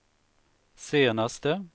senaste